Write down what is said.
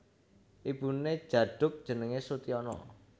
Ibuné Djaduk jenengé Soetiana